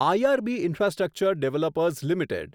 IRB infrastructure developers limited